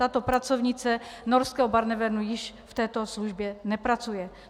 Tato pracovnice norského Barnevernu již v této službě nepracuje.